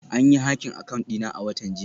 An yi hacking account dina a watan jiya